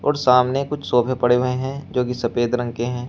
और सामने कुछ सोफे पड़े हुए हैं जो की सफेद रंग के हैं।